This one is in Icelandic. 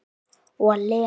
Og Lenu.